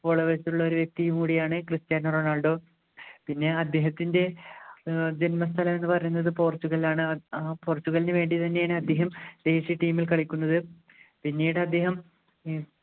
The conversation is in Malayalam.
followers ഉള്ള ഒരു വ്യക്തിയും കൂടിയാണ് കുറച്ച് ക്രിസ്ത്യാനോ റൊണാൾഡോ പിന്നെ അദ്ദേഹത്തിൻ്റെ ഏർ ജന്മസ്ഥലം എന്ന് പറയുന്നത് പോർച്ചുഗൽ ആണ് ആഹ് പോർച്ചുഗലിനു വേണ്ടി തന്നെയാണ് അദ്ദേഹം ദേശീയ team ൽ കളിക്കുന്നത് പിന്നീട് അദ്ദേഹം ഉം